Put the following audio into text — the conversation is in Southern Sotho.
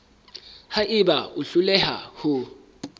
ha eba o hloleha ho